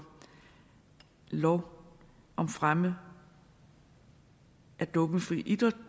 lov om fremme af dopingfri idræt